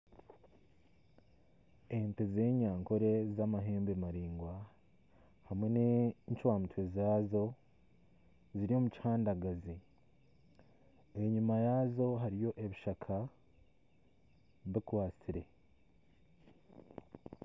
Ente z'enyankore z'amahembe maraingwa hamwe n'encwamutwe zazo ziri omukihandagazi enyuma yazo hariyo ebishaka bikwatsire.